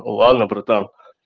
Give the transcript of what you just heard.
ладно братан